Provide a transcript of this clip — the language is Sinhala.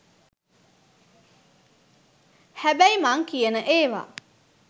හැබැයි මං කියන ඒව